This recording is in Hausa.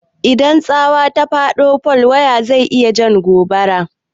Idan tsawa ya faɗo a fol waya, zai iya jan gobara.